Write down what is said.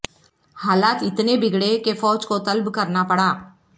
حالات اتنے بگڑے کے فوج کو طلب کرنا پڑا